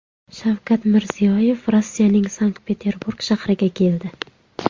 Shavkat Mirziyoyev Rossiyaning Sankt-Peterburg shahriga keldi.